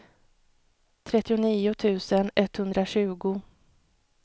trettionio tusen etthundratjugo